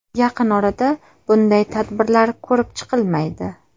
Yaqin orada bunday tadbirlar ko‘rib chqilmaydi.